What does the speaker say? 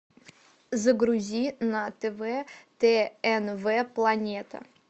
загрузи на тв тнв планета